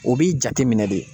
O b'i jateminɛ de.